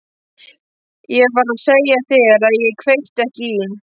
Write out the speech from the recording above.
Ég var að segja þér að ég kveikti ekki í.